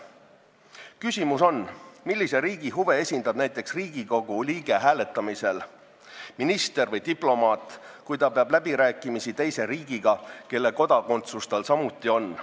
Küsimus on, millise riigi huve esindab näiteks Riigikogu liige hääletamisel, minister või diplomaat, kui ta peab läbirääkimisi teise riigiga, mille kodakondsus tal samuti on.